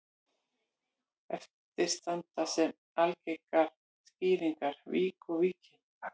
Eftir standa sem algengar skýringar vík og Víkin.